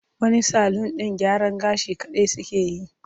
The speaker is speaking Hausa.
Wani salun ɗin gyaran gashi kaɗai suke yi.